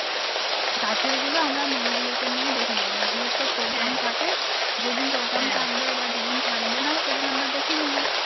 কাছেরগুলো আমরা মেয়েগুলোকে নিয়ে দেখে নেবো মেয়েগুলোর তো program থাকে যেদিন program থাকবে বা যেদিন থাকবে না সেদিন আমরা দেখে নেবো